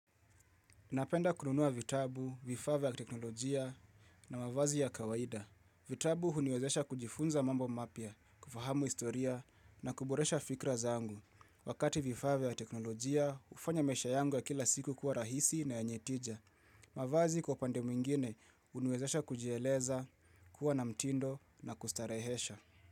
Napenda kununua vitabu, vifaa vya kiteknolojia na mavazi ya kawaida. Vitabu huniwezesha kujifunza mambo mapya, kufahamu historia na kuboresha fikra zangu. Wakati vifaa vya teknolojia, ufanya maisha yangu ya kila siku kuwa rahisi na yenye tija. Mavazi kwa pande mwingine uniwezesha kujieleza, kuwa na mtindo na kustarehesha.